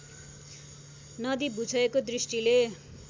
नदी भूक्षयको दृष्टिले